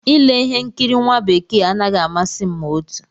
Ile ihe nkiri nwa bekee anaghị amasị m ma otu